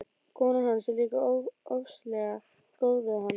Konan hans er líka ofsalega góð við mann.